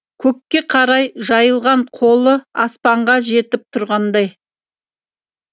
көкке қарай жайылған қолы аспанға жетіп тұрғандай